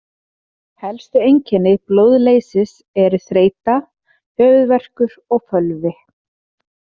Helstu einkenni blóðleysis eru þreyta, höfuðverkur og fölvi.